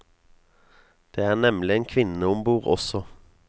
Det er nemlig en kvinne ombord også.